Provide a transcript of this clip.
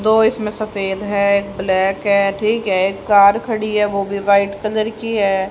दो इसमें सफेद है ब्लैक है ठीक है एक कार खड़ी है वो भी व्हाइट कलर की है।